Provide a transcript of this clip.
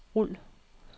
rul